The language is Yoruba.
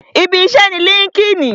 Ibi iṣẹ́ ni líńki-inì